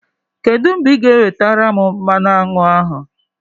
Kedụ mgbe ị ga-ewetere m mmanụ aṅụ ahụ?